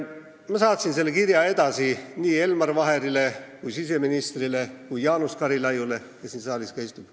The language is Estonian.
Ma saatsin selle kirja edasi Elmar Vaherile, siseministrile ja Jaanus Karilaidile, kes siin saalis istub.